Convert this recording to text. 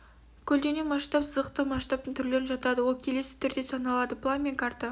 көлденең масштаб сызықтық масштабтың түрлеріне жатады ол келесі түрде саналады план мен карта